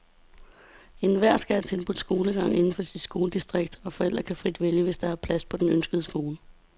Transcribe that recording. Enhver skal have tilbudt skolegang inden for sit skoledistrikt, og forældre kan vælge frit, hvis der er plads på den ønskede skole.